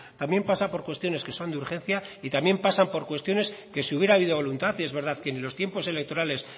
también pasa por cuestiones que son de urgencia y también pasa por cuestiones que si hubiera habido voluntad y es verdad que ni los tiempo electorales